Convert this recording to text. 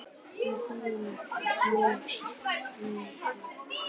Þetta er mjög slæm þróun